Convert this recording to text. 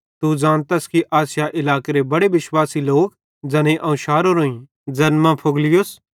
तू ज़ानतस कि आसिया इलाकेरे बड़े विश्वासी लोक ज़ैनेईं अवं शारोरोईं ज़ैन मां फूगिलुस ते हिरमुगिनेसे भी अवं शारो